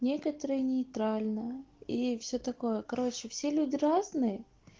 некоторые нейтрально и все такое короче все люди разные